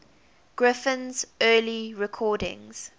griffin's early recordings